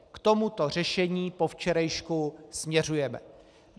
K tomuto řešení po včerejšku směřujeme.